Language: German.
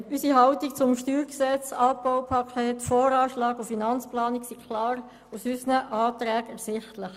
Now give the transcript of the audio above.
Unsere Haltung zum StG, dem Abbaupaket, dem VA und dem AFP ist klar aus unseren Anträgen ersichtlich.